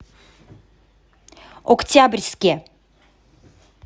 октябрьске